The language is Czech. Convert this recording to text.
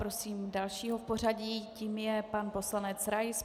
Prosím dalšího v pořadí, tím je pan poslanec Rais.